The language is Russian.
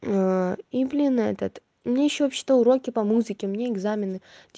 ээ и блина этот мне ещё вообще-то уроки по музыке мне экзамены